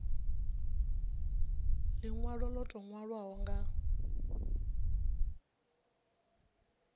linwalo lo tou nwaliwaho nga